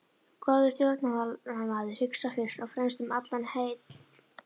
Góður stjórnmálamaður hugsar fyrst og fremst um almannaheill.